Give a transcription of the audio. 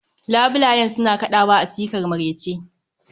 labulayen suna kadawa a sikar marece